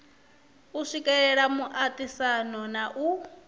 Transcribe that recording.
u swikelela muaisano na u